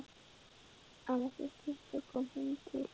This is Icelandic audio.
En þessi stytta kom heim til